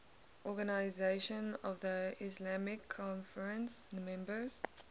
organisation of the islamic conference members